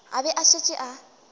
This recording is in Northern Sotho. a be a šetše a